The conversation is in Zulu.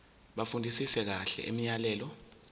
bafundisise kahle imiyalelo